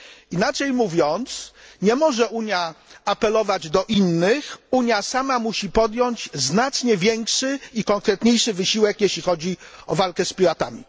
Inaczej mówiąc, nie może Unia apelować do innych, Unia sama musi podjąć znacznie większy i konkretniejszy wysiłek, jeśli chodzi o walkę z piratami.